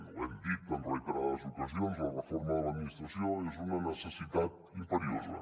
ho hem dit en reiterades ocasions la reforma de l’administració és una necessitat imperiosa